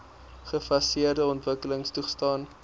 gefaseerde ontwikkeling toegestaan